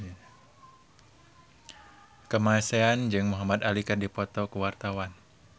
Kamasean jeung Muhamad Ali keur dipoto ku wartawan